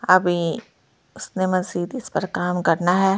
अभी उसने मांसीद इस पर काम करना है जो--